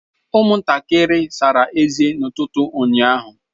Ụmụntakịrị sara ezé n'ụtụtụ ụnyaahụ.